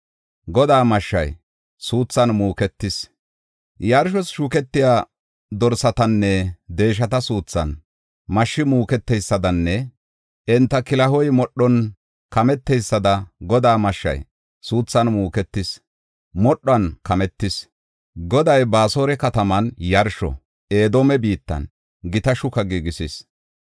Godaa mashshay suuthan muuketis. Yarshos shuketiya dorsatanne deeshata suuthan mashshi muuketeysadanne enta kilaho modhuwan kameteysada Godaa mashshay suuthan muuketis; modhuwan kametis. Goday Baasora kataman yarsho, Edoome biittan gita shuka giigisis.